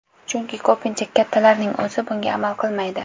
Chunki ko‘pincha kattalarning o‘zi bunga amal qilmaydi.